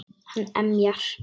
Hann emjar.